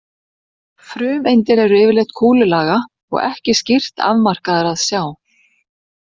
Frumeindir eru yfirleitt kúlulaga og ekki skýrt afmarkaðar að sjá.